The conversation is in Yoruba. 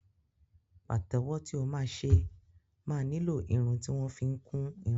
Pàtẹ́wọ́ tí o máa ṣe máa nílò irun tí wọ́n fi ń kún irun.